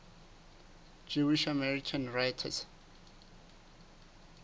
jewish american writers